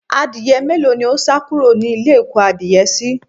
Adìye mélòó ní ó sá kúrò nílé ìkó adìye síí